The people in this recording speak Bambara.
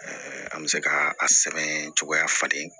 an bɛ se ka a sɛbɛn cogoya falen